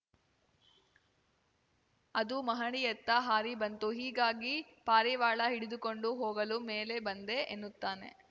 ಅದು ಮಹಡಿಯತ್ತ ಹಾರಿ ಬಂತು ಹೀಗಾಗಿ ಪಾರಿವಾಳ ಹಿಡಿದುಕೊಂಡು ಹೋಗಲು ಮೇಲೆ ಬಂದೆ ಎನ್ನುತ್ತಾನೆ